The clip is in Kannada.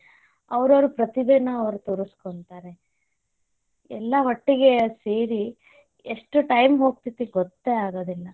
ಅವರವರ ಪ್ರತಿಭೇನ ಅವ್ರು ತೊರಸ್ಕೊಂತಾರೆ ಎಲ್ಲ ಒಟ್ಟಗೆ ಸೇರಿ, ಎಷ್ಟ time ಹೋಗ್ತೇತಿ ಗೊತ್ತೇ ಆಗೊದಿಲ್ಲ